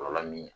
Kɔlɔlɔ min ye